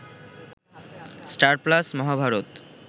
star Plus Mahabharata